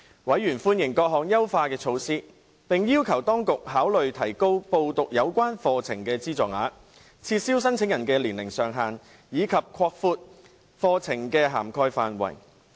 委員歡迎各項優化措施，並要求當局考慮提高報讀有關課程的資助額、撤銷申請人的年齡上限，以及擴闊課程的涵蓋範圍。